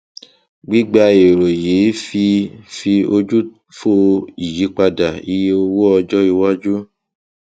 gbígba èrò yìí fi fi ojú fò ìyípadà iye owó ọjọ iwájú